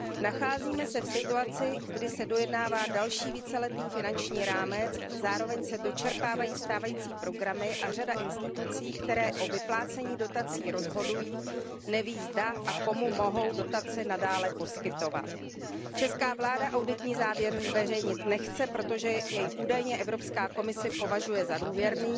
Nacházíme se v situaci, kdy se dojednává další víceletý finanční rámec, zároveň se dočerpávají stávající programy a řada institucí, které o vyplácení dotací rozhodují, neví, zda a komu mohou dotace nadále poskytovat. Česká vláda auditní závěr zveřejnit nechce, protože jej údajně Evropská komise považuje za důvěrný